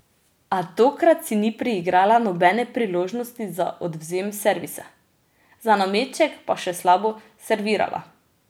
A tokrat si ni priigrala nobene priložnosti za odvzem servisa, za nameček pa še slabo servirala.